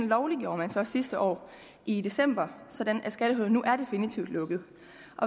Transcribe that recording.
lovliggjorde man så sidste år i december sådan at skattehullet nu er definitivt lukket